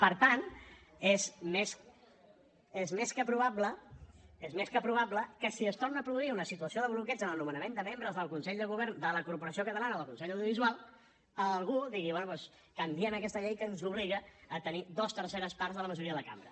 per tant és més que probable és més que probable que si es torna a produir una situació de bloqueig en el nomenament de membres del consell de govern de la corporació catalana o del consell de l’audiovisual algú digui bé doncs canviem aquesta llei que ens obliga a tenir dues terceres parts de la majoria de la cambra